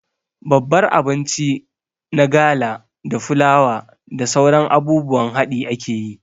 Babbar abinci na gala da fulawa da sauran abubuwan haɗi akeyi